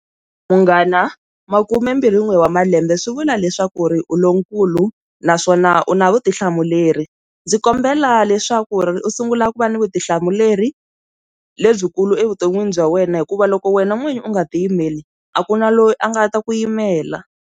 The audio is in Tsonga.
Munghana makhume mbirhi n'we wa malembe swi vula leswaku ri u lonkulu naswona u na vutihlamuleri ndzi kombela leswaku ri u sungula ku va ni vutihlamuleri lebyikulu evuton'wini bya wena hikuva loko wena n'winyi u nga ti yimeli a ku na loyi a nga ta ku yimela.